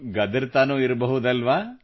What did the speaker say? ಗದರುತ್ತಲೂ ಇರಬಹುದಲ್ಲವೆ